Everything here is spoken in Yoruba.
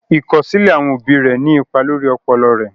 Ìkọsilẹ̀ àwọn obì rè ní ìpà lórí ọpọlọ rè.